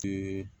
Te